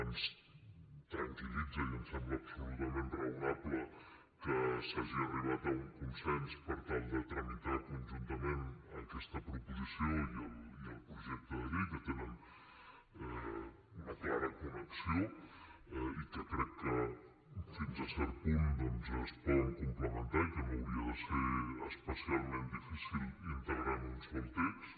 ens tranquil·litza i ens sembla absolutament raonable que s’hagi arribat a un consens per tal de tramitar conjuntament aquesta proposició i el projecte de llei que tenen una clara connexió i que crec que fins a cert punt doncs es poden complementar i que no hauria de ser especialment difícil integrar en un sol text